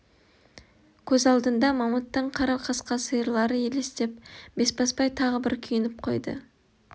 көз алдында мамыттың қара қасқа сиырлары елестеп бесбасбай тағы бір күйініп қойды